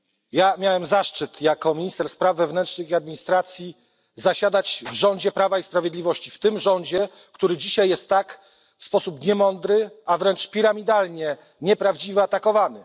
Ja miałem zaszczyt jako minister spraw wewnętrznych i administracji zasiadać w rządzie Prawa i Sprawiedliwości, w tym rządzie, który dzisiaj jest tak w sposób niemądry, a wręcz piramidalnie nieprawdziwie atakowany.